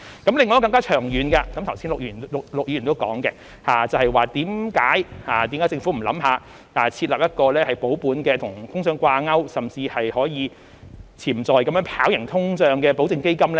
另一個更長遠的，剛才陸議員亦有提到，為何政府不考慮設立一個保本並與通脹掛鈎，甚至是可以潛在能夠跑贏通脹的保證基金？